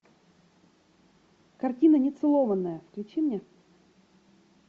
картина нецелованная включи мне